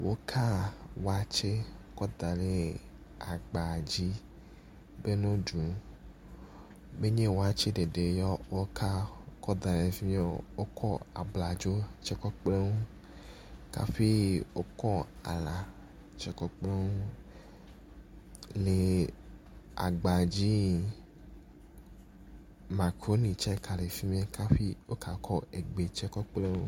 Wokaa watse kɔ da ɖe agba dzi be no ɖu, menye watse ɖeɖe ye woka da ɖe efim yo, wokɔ abladzo kɔ kpeɖeŋu ka ƒi wokɔ alã tse kpeɖeŋu le agba dzi makruni tse ga le ƒi mɛ kafi woka kɔ egbe tse kpeɖeŋu.